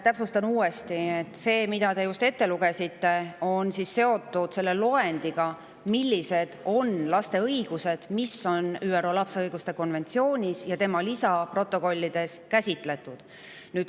Täpsustan uuesti, et see, mida te just ette lugesite, on seotud loendiga selle kohta, millised on laste õigused, mida on ÜRO lapse õiguste konventsioonis ja selle lisaprotokollides käsitletud.